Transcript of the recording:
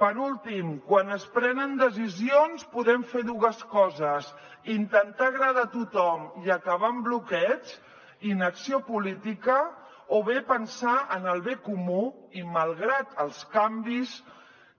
per últim quan es prenen decisions podem fer dues coses intentar agradar a tothom i acabar en bloqueig inacció política o bé pensar en el bé comú i malgrat els canvis